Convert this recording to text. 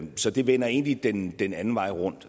så det vender egentlig den den anden vej rundt